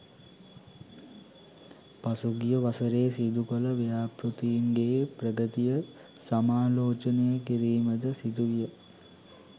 පසුගිය වසරේ සිදුකළ ව්‍යාපෘතීන්ගේ ප්‍රගතිය සමාලෝචනය කිරීමද සිදුවිය